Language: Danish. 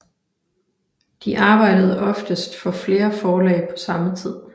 De arbejdede oftest for flere forlag på samme tid